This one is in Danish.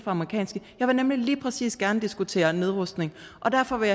amerikanske jeg vil nemlig lige præcis gerne diskutere nedrustning og derfor vil